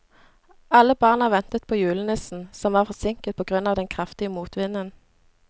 Alle barna ventet på julenissen, som var forsinket på grunn av den kraftige motvinden.